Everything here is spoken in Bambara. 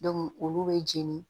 olu be jeni